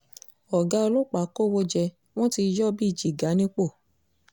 ọ̀gá ọlọ́pàá kọ́wọ́ jẹ wọ́n ti yọ ọ́ bíi jígà nípò